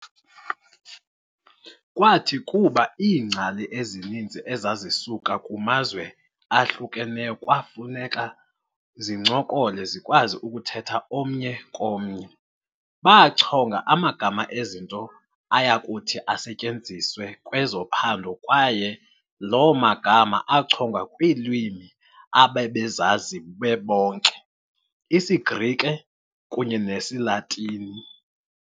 Kwathi kuba iingcali ezininzi ezazisuka kumazwe ahlukeneyo kwafuneka zincokole zikwazi ukuthetha omnye komnye, baachonga amagama ezinto ayakuthi asetyenziswe kwezophando kwaye loo magama achongwa kwiilwimi ababezazi bebonke- isiGrike kunye nesiLatini.